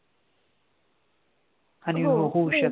अणि हो होऊ शकते.